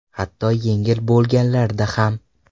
Hatto yengil bo‘lganlarda ham.